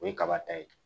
O ye kaba ta ye